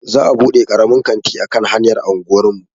Za'a buɗe karamin kanti a kan hanyar anguwar mu.